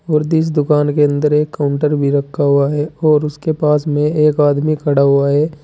और दिस दुकान के अंदर एक काउंटर भी रखा हुआ है और उसके पास में एक आदमी खड़ा हुआ है।